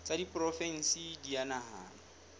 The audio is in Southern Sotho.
tsa diporofensi di a nahanwa